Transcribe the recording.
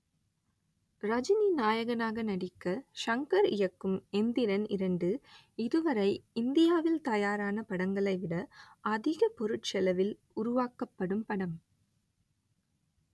ரஜினி நாயகனாக நடிக்க ஷங்கர் இயக்கும் எந்திரன் இரண்டு இதுவரை இந்தியாவில் தயாரான படங்களைவிட அதிக பொருட்செலவில் உருவாக்கப்படும் படம்